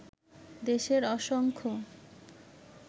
দেশের অসংখ্য